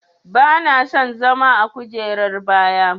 Bana son zama a kujerar baya.